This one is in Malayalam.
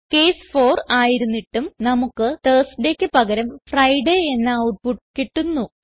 കേസ് 4 ആയിരുന്നിട്ടും നമുക്ക് Thursdayക്ക് പകരം ഫ്രിഡേ എന്ന ഔട്ട്പുട്ട് കിട്ടുന്നു